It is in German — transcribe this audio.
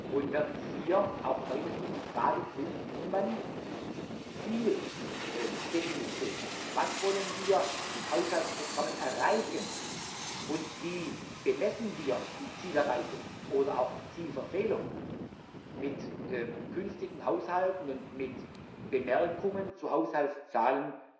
Und wir werden hier auch weiterhin die Frage prüfen, wie man sich der Zieldefinition was wollen wir mit Haushaltsprogrammen erreichen und wie messen wir die Zielerreichung oder auch die Zielverfehlung mit künftigen Haushalten und mit Bemerkungen zu Haushaltszahlen